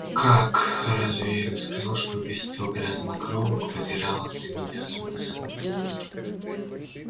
как разве я не сказал что убийство грязнокровок потеряло для меня смысл